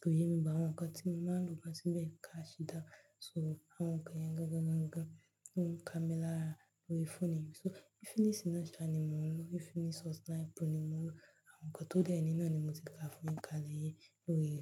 koyẹ mí but àwọn nǹkan tí mo máa ń lò maá se bẹ́ẹ̀ crash down. So àwọn nǹkan yẹn gangan ló ń ka mi lára torí fóònù yìí. So Infinix naa sa ni mo ń lò, Infinix Hot 9 Pro ni mo ń lò. Àwọn nǹkan tó dẹ́ ni nani mo ti káa fún yin, kálè yi óye e.